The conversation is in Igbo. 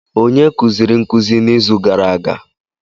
Onye kuziri nkuzi n'izu gara aga?